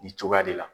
Nin cogoya de la